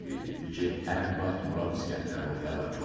həmin vaxt Murad İsgəndərov həlak olub.